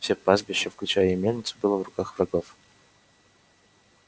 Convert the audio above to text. все пастбище включая и мельницу было в руках врагов